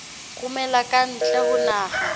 romela ka ntle ho naha